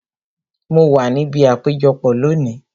Mo wa níbi àpéjọpọ̀ lónìí